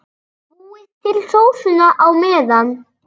Búið til sósuna á meðan.